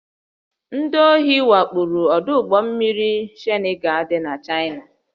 Ndị ohi wakporo ọdụ ụgbọ mmiri Shanghaị dị n'Chaịna